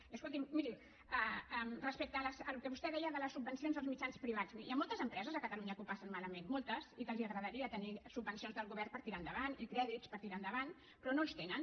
i escolti’m miri respecte al que vostè deia de les subvencions als mitjans privats hi ha moltes empreses a catalunya que ho passen malament moltes i que els agradaria tenir subvencions del govern per tirar endavant i crèdits per tirar endavant però no els tenen